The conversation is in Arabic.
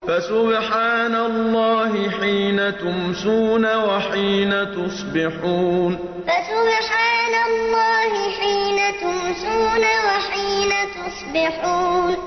فَسُبْحَانَ اللَّهِ حِينَ تُمْسُونَ وَحِينَ تُصْبِحُونَ فَسُبْحَانَ اللَّهِ حِينَ تُمْسُونَ وَحِينَ تُصْبِحُونَ